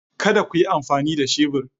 Kada ku yi amfani da shebur